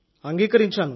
అంగీకరించాను